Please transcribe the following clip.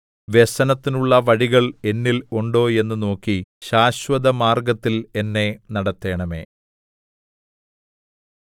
വ്യസനത്തിനുള്ള വഴികൾ എന്നിൽ ഉണ്ടോ എന്ന് നോക്കി ശാശ്വതമാർഗ്ഗത്തിൽ എന്നെ നടത്തണമേ